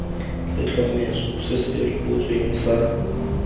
letlhomeso se se rebotsweng sa